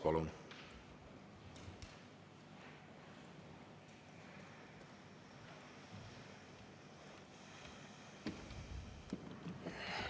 Palun!